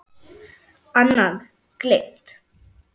Annað: Gleymt.